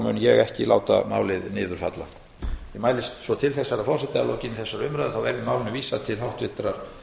mun ég ekki láta málið niður falla ég mælist svo til þess herra forseti að